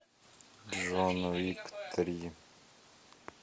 джон уик три